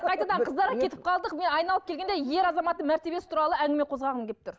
қайтадан қыздарға кетіп қалдық мен айналып келгенде ер азаматтың мәртебиесі туралы әңгіме қозғағым келіп тұр